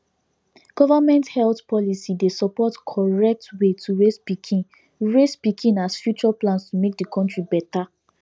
government health policy dey support correct way to raise pikin raise pikin as future plans to make the country better